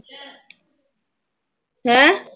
ਹੈਂ।